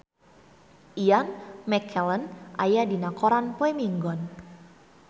Ian McKellen aya dina koran poe Minggon